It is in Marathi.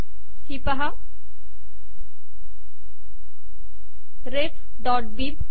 ही पाहा refबिब